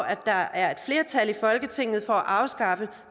at der er et flertal i folketinget for at afskaffe